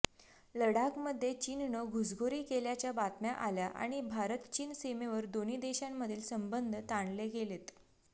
लडाखमध्ये चीननं घुसखोरी केल्याच्या बातम्या आल्या आणि भारत चीन सीमेवर दोन्ही देशांमधील संबंध ताणले गेलेत